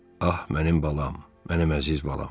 Ah mənim balam, mənim əziz balam.